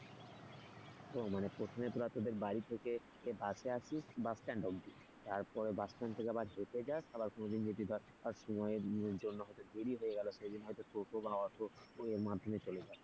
ও মানে প্রথমে তোরা তোদের বাড়ি থেকে বাসে আসিস bus stand অবধি তারপরে bus stand থেকে আবার হেঁটে যাস আবার কোন দিন যদিবা সময়ের জন্য হয়তো দেরী হয়ে গেল সেদিন হয়তো টোটো বা অটোর করে এর মধ্যেমে চলে যাস তাই তো?